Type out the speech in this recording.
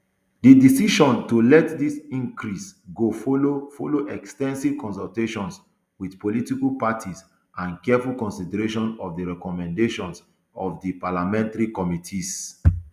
di decision to let dis increase go follow follow ex ten sive consultations wit political parties and careful consideration of di recommendations of di parliamentary committees